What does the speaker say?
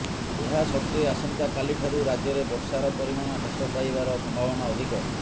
ଏହା ସତ୍ତ୍ୱେ ଆସନ୍ତାକାଲିଠାରୁ ରାଜ୍ୟରେ ବର୍ଷାର ପରିମାଣ ହ୍ରାସ ପାଇବାର ସମ୍ଭାବନା ଅଧିକ